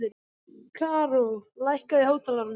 Karó, lækkaðu í hátalaranum.